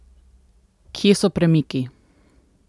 Kje so premiki?